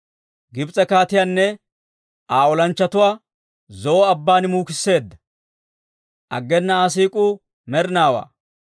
Gibs'e kaatiyaanne Aa olanchchatuwaa Zo'o Abban muukisseedda; aggena Aa siik'uu med'inaawaa.